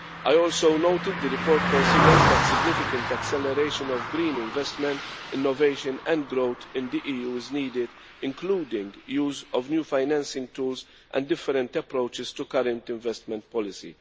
I also noted the report considers that significant acceleration of green investment, innovation and growth in the EU is needed, including use of new financing tools and different approaches to current investment policy.